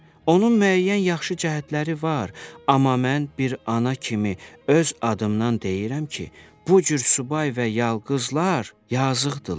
Onun müəyyən yaxşı cəhətləri var, amma mən bir ana kimi öz adımdan deyirəm ki, bu cür subay və yalqızlar yazıqdırlar.